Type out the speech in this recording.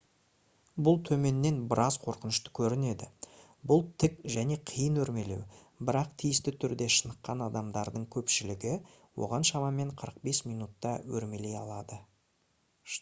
бұл төменнен біраз қорқынышты көрінеді бұл тік және қиын өрмелеу бірақ тиісті түрде шыныққан адамдардың көпшілігі оған шамамен 45 минутта өрмелей алады